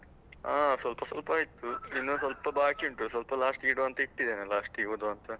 ಹಾ ಸ್ವಲ್ಪ ಸ್ವಲ್ಪ ಇತ್ತು, ಇನ್ನು ಸ್ವಲ್ಪ ಬಾಕಿ ಉಂಟು. ಸ್ವಲ್ಪ last ಗೆ ಇಡುವಾಂತ ಇಟ್ಟಿದ್ದೇನೆ last ಗೆ ಓದುವಾಂತ.